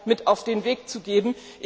mit auf den Weg zu geben.